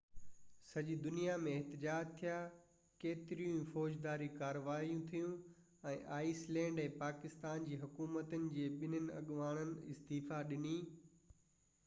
سڄي دنيا ۾ احتجاج ٿيا، ڪيتريون ئي فوجداري ڪاروائيون ٿيون ۽ آئيس لينڊ ۽ پاڪستان جي حڪومتن جي ٻنهي اڳواڻن استعيفيٰ ڏني